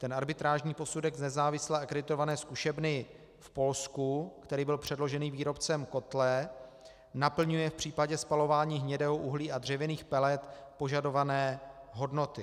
Ten arbitrážní posudek z nezávislé akreditované zkušebny v Polsku, který byl předložený výrobcem kotle, naplňuje v případě spalování hnědého uhlí a dřevinných pelet požadované hodnoty.